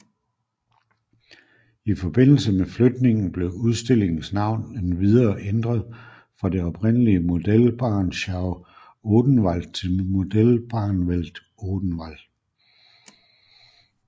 I forbindelse med flytningen blev udstillingens navn endvidere ændret fra det oprindelige Modellbahnschau Odenwald til Modellbahnwelt Odenwald